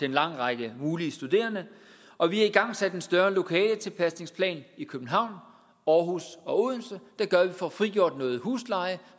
en lang række mulige studerende og vi har igangsat en større lokaletilpasningsplan i københavn aarhus og odense der gør at vi får frigjort noget husleje